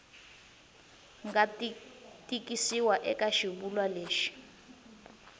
nga tikisiwa eka xivulwa lexi